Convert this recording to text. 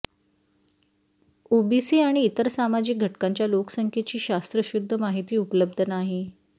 OBC आणि इतर सामाजिक घटकांच्या लोकसंख्येची शास्त्रशुद्ध माहिती उपलब्ध नाही